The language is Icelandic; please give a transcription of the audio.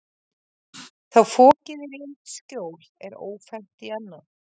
Þá fokið er í eitt skjól er ófennt í annað.